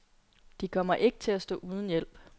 De kommer ikke til at stå uden hjælp.